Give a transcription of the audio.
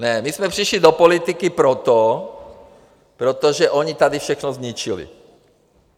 Ne, my jsme přišli do politiky proto, protože oni tady všechno zničili.